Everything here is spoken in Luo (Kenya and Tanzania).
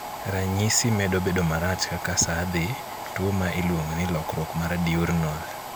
Ranyisi medo bedo marach kaka saa dhi, tuo ma iluongo ni lokruok mar diurnal